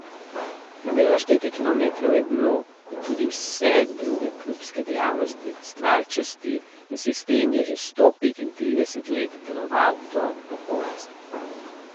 Pravilno štetje kilometrov je bilo, kot tudi vse druge klubske dejavnosti, stvar časti, in sistem je že sto petintrideset let deloval do popolnosti.